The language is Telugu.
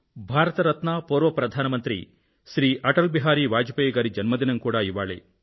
భారత రత్న మరియు పూర్వ ప్రధాన మంత్రి అటల్ బిహారీ వాజ్ పేయి గారి జన్మదినం కూడా ఇవాళే